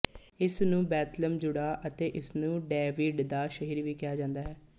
ਇਸ ਨੂੰ Bethlehem Judah ਅਤੇ ਇਸਨੂੰ ਡੇਵਿਡ ਦਾ ਸ਼ਹਿਰ ਵੀ ਕਿਹਾ ਜਾਂਦਾ ਹੈ